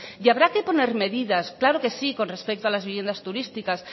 y habrá que poner medidas claro que sí con respecto a las viviendas turísticas